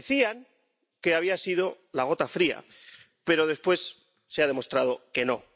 Decían que había sido la gota fría, pero, después, se ha demostrado que no.